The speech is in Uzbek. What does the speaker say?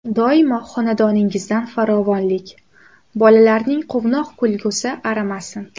Doimo xonadoningizdan farovonlik, bolalarning quvnoq kulgusi arimasin.